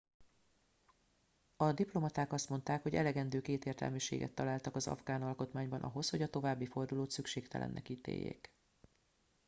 a diplomaták azt mondták hogy elegendő kétértelműséget találtak az afgán alkotmányban ahhoz hogy a további fordulót szükségtelennek ítéljék